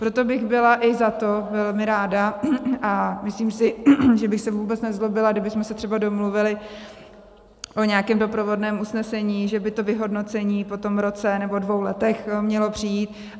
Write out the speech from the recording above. Proto bych byla i za to velmi ráda a myslím si, že bych se vůbec nezlobila, kdybychom se třeba domluvili o nějakém doprovodném usnesení, že by to vyhodnocení po tom roce nebo dvou letech mělo přijít.